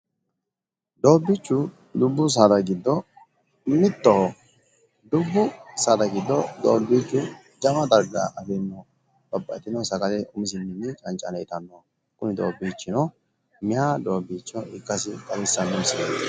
doobbiichu dubbu saada giddo mittoho dubbu saada giddo doobbiichu jawa darga afirino babbaxitino sagale umisinni cancanne itannoho kuni doobbiichino meeya ikkase xawisanno misileeti.